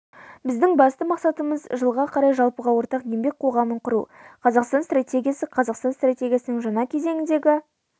біздің басты мақсатымыз жылға қарай жалпыға ортақ еңбек қоғамын құру қазақстан стратегиясы қазақстан стратегиясының жаңа кезеңдегі